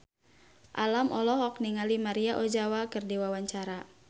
Alam olohok ningali Maria Ozawa keur diwawancara